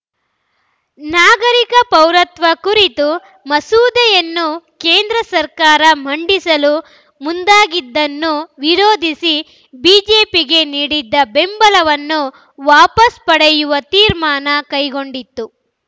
ನಾಗರಿಕ ಪೌರತ್ವ ಕುರಿತ ಮಸೂದೆಯನ್ನು ಕೇಂದ್ರ ಸರ್ಕಾರ ಮಂಡಿಸಲು ಮುಂದಾಗಿದ್ದನ್ನು ವಿರೋಧಿಸಿ ಬಿಜೆಪಿಗೆ ನೀಡಿದ್ದ ಬೆಂಬಲವನ್ನು ವಾಪಸ್ ಪಡೆಯುವ ತೀರ್ಮಾನ ಕೈಗೊಂಡಿತ್ತು